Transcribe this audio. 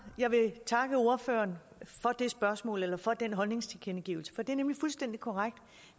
jeg vil takke ordføreren for det spørgsmål eller for den holdningstilkendegivelse for det er nemlig fuldstændig korrekt